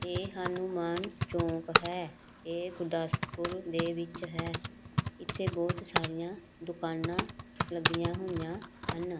ਇਹ ਹਨੂਮਾਨ ਚੌਂਕ ਹੈ ਇਹ ਗੁਰਦਾਸਪੁਰ ਦੇ ਵਿੱਚ ਹੈ ਇੱਥੇ ਬਹੁਤ ਸਾਰੀਆਂ ਦੁਕਾਨਾਂ ਲੱਗੀਆਂ ਹੋਈਆਂ ਹਨ।